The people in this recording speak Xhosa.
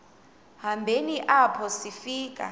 hambeni apho sifika